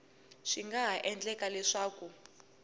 swi nga ha endleka leswaku